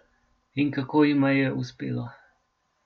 In kako jima je uspelo?